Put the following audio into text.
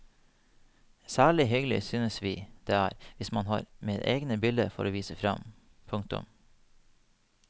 Særlig hyggelig synes vi det er hvis man har med egne bilder for å vise fram. punktum